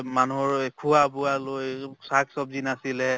মানুহৰ এই খোৱা বোৱা ল শাক চবগি নাছিলে